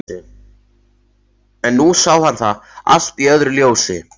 En nú sá hann það allt í öðru ljósi.